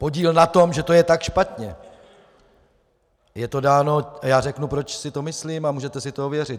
Podíl na tom, že to je tak špatně, je to dáno - a já řeknu, proč si to myslím, a můžete si to ověřit.